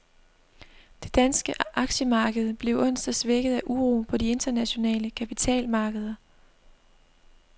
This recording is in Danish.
Det danske aktiemarked blev onsdag svækket af uro på de internationale kapitalmarkeder.